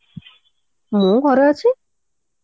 ମୁଁ ଘରେ ଅଛି